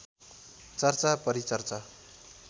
चर्चा परिचर्चा